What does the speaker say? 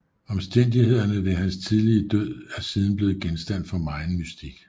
Omstændighederne ved hans tidlige død er siden blev genstand for megen mystik